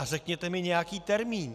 A řekněte mi nějaký termín.